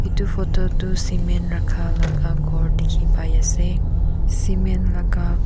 edu photo tu cement rakha laga ghor dikhi pai ase cement laga--